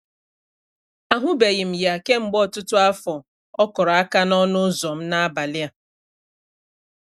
Ahụbeghị m ya kemgbe ọtụtụ afọ, ọ kụrụ aka n'ọnụ ụzọ m n'abalị a.